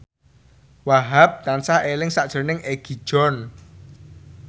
Wahhab tansah eling sakjroning Egi John